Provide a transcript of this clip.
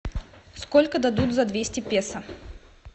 сколько дадут за двести песо